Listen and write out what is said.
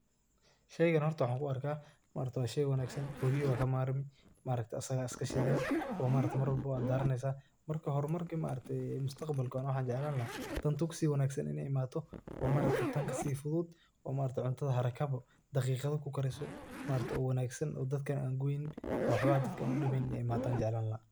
Sheeygan hoorta waxa ku arkah, hoorta wa sheey wangsan qooryobwa kamarmi, maaragtah asaga Aya iska shithani then mar laboo wa daraneeysah, marki hori marki mustaqbalka waxan jeeclani lahay tuu kasi wanagsan Ina imathoh oo maaragtay taan kasi fuuthut, oo maaragtay cuuntaha haragaboo daqiqatho kugarisoh, maargtahay oo Wangsan dadka AA Gubeynin oo waxbo dadka u dimeynin Ina imathoh jeeclani lahay.